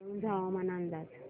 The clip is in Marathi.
वाळूंज हवामान अंदाज